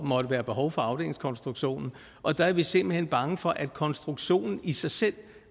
måtte være behov for afdelingskonstruktionen og der er vi simpelt hen bange for at konstruktionen i sig selv